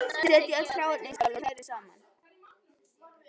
Setjið öll hráefnin í skál og hrærið saman.